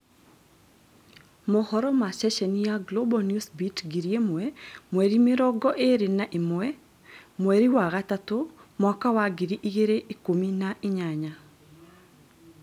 Mohoro ma ceceni ya Global Newsbeat 1000 mweri mĩrongo ĩrĩ na imwe mweri wa gatatũ mwaka wa ngiri igĩrĩ ikumi na inyanya